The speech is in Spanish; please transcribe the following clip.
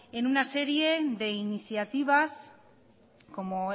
en una serie de iniciativas como